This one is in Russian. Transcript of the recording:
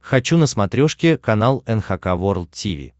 хочу на смотрешке канал эн эйч кей волд ти ви